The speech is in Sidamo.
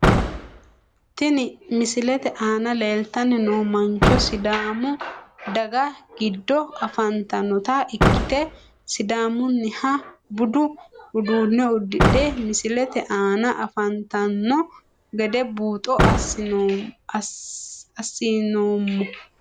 Tini misilete aana leeltani noo mancho sidaamu daga giiddo afantanota ikite sidaamuniha budu uduune udidhe misilete aana afantano gede buuxo asinoomo.